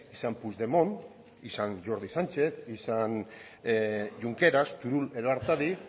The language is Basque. izan puigdemont izan jordi sánchez izan junqueras turull edo artadi